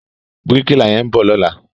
Bíríkìlà yẹn ń bọ̀ lọ́la.